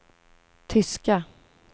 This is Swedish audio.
tyska